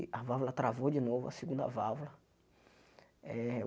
A válvula travou de novo, a segunda válvula. Eh